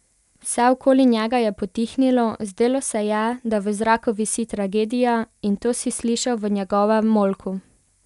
Vse okoli njega je potihnilo, zdelo se je, da v zraku visi tragedija, in to si slišal v njegovem molku.